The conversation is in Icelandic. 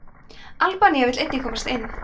albanía vill einnig komast inn